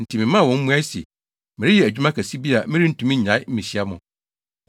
enti memaa wɔn mmuae se, “Mereyɛ adwuma kɛse bi a merentumi nnyae mmehyia mo.”